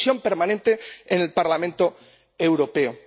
Una comisión permanente en el Parlamento Europeo.